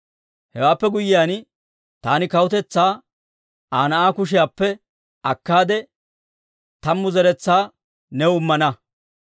Hewaappe guyyiyaan taani kawutetsaa Aa na'aa kushiyaappe akkaade tammu zeretsaa new immana.